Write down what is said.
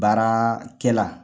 Baarakɛla